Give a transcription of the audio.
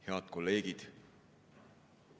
Head kolleegid!